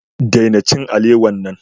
Daina cin alewa nan.